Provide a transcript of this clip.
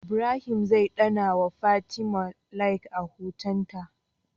Ibrahim zai danna wa fatim Like a hoton ta